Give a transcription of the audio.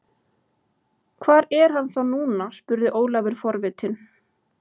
Hvar er hann þá núna spurði Jón Ólafur forvitinn.